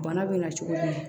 Bana bɛ na cogo jumɛn